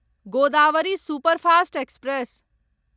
Godavari superfast express